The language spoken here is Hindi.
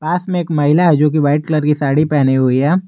पास में एक महिला है जो कि वाइट कलर की साड़ी पहनी हुई है।